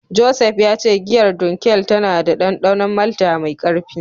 Joseph ya ce giyar Dunkel tana da dandanon malta mai karfi.